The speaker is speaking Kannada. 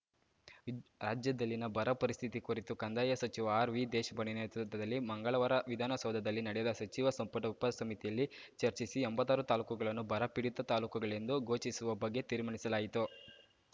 ರಾಜ್ಯದಲ್ಲಿನ ಬರ ಪರಿಸ್ಥಿತಿ ಕುರಿತು ಕಂದಾಯ ಸಚಿವ ಆರ್‌ವಿದೇಶಪಾಂಡೆ ನೇತೃತ್ವದಲ್ಲಿ ಮಂಗಳವಾರ ವಿಧಾನಸೌಧದಲ್ಲಿ ನಡೆದ ಸಚಿವ ಸಂಪುಟ ಉಪಸಮಿತಿಯಲ್ಲಿ ಚರ್ಚಿಸಿ ಎಂಭತ್ತಾರು ತಾಲೂಕುಗಳನ್ನು ಬರಪೀಡಿತ ತಾಲೂಕುಗಳೆಂದು ಘೋಷಿಸುವ ಬಗ್ಗೆ ತೀರ್ಮಾನಿಸಲಾಯಿತು